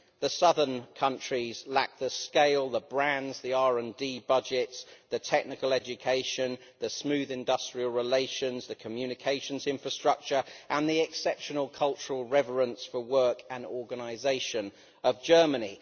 The southern countries lack the scale, the brands, the RD budgets, the technical education, the smooth industrial relations, the communications infrastructure and the exceptional cultural reverence for work and organisation of Germany.